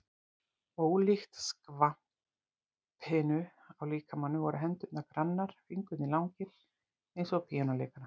Ólíkt skvapinu á líkamanum voru hendurnar grannar, fingurnir langir eins og á píanóleikara.